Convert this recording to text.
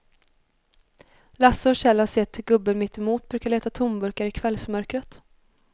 Lasse och Kjell har sett hur gubben mittemot brukar leta tomburkar i kvällsmörkret.